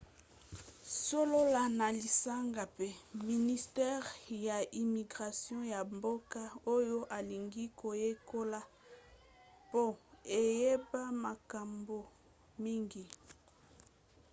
solola na lisanga mpe ministere ya immigration ya mboka oyo olingi koyekola mpo oyeba makambo mingi